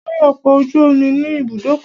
A rí ọ̀pọ̀ ọkọ̀ ojú omi ní ibùdókọ̀.